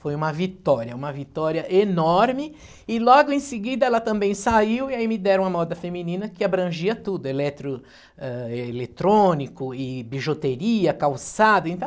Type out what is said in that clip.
Foi uma vitória, uma vitória enorme e logo em seguida ela também saiu e aí me deram a moda feminina que abrangia tudo, eletro, ãh, eletrônico e bijuteria, calçado e tal.